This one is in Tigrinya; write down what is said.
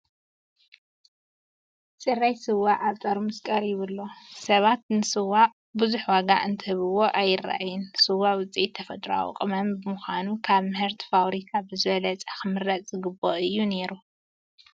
ፅራይ ስዋ ኣብ ጠርሙዝ ቀሪቡ ኣሎ፡፡ ሰባት ንስዋ ብዙሕ ዋጋ እንትህብዎ ኣይርአይን፡፡ ስዋ ውፅኢት ተፈጥሯዊ ቅመማ ብምዃኑ ካብ ምህርቲ ፋብሪካ ብዝበለፀ ክምረፅ ዝግብኦ እዩ ነይሩ፡፡